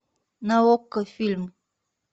на окко фильм